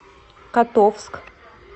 котовск